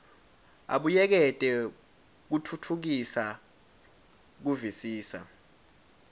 abuyekete kutfutfukisa kuvisisa